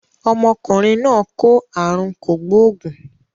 Ọmọkùnrin náà kó àrùn kò gbóògùn.